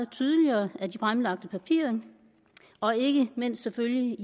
tydeligt af de fremlagte papirer og ikke mindst selvfølgelig